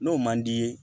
N'o man d'i ye